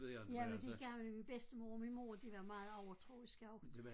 Jamen de gamle min bedstemor og min mor de var meget overtroiske også